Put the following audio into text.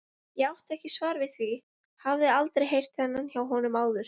Ég átti ekki svar við því, hafði aldrei heyrt þennan hjá honum áður.